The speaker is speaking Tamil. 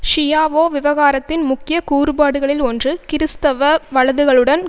ஷியாவோ விவகாரத்தின் முக்கிய கூறுபாடுகளில் ஒன்று கிறிஸ்தவ வலதுகளுடன்